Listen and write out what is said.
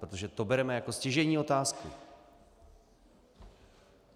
Protože to bereme jako stěžejní otázku.